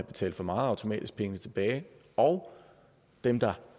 betalt for meget automatisk pengene tilbage og dem der